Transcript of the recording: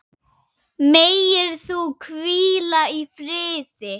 Megir þú hvíla í friði.